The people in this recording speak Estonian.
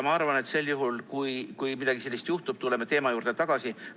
Ma arvan, et sel juhul, kui midagi sellist juhtub, tuleme teema juurde tagasi.